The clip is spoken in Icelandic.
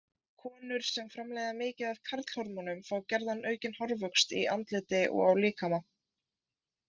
Konur sem framleiða mikið af karlhormónum fá gjarna aukinn hárvöxt í andliti og á líkama.